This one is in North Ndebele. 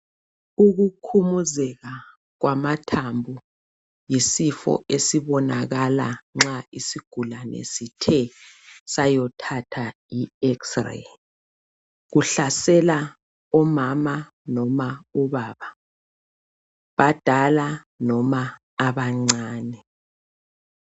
Ukukhumuzeka kwamathambo yisifo esibonakala nxa isigulane sithe sayothatha i 'EX-ray' kuhlasela umama noma ubaba, abadala noma abancane.